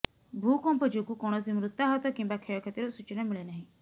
ଭୂକମ୍ପ ଯୋଗୁଁ କୌଣସି ମୃତାହତ କିମ୍ବା କ୍ଷୟକ୍ଷତିର ସୂଚନା ମିଳିନାହିଁ